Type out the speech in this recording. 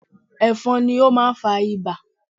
Ẹ̀fọ̀n ni ó máa ń fa Ibà